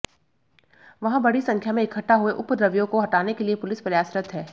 वहां बड़ी संख्या में इकट्ठा हुए उपद्रवियों को हटाने के लिए पुलिस प्रयासरत है